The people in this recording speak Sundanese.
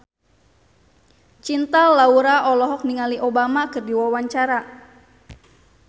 Cinta Laura olohok ningali Obama keur diwawancara